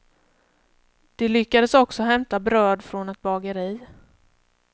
De lyckades också hämta bröd från ett bageri.